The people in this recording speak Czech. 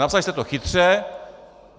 Napsali jste to chytře.